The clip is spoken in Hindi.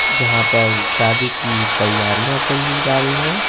यहां पर शादी की तैयारियां चली जा रही है।